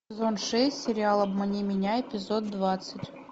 сезон шесть сериал обмани меня эпизод двадцать